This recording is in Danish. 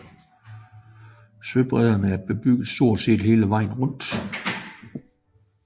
Søbredden er bebygget stort set hele vejen rundt